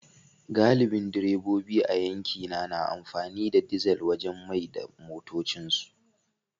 Galibin direbobi a yankina na amfani da dizal wajen mai da motocinsu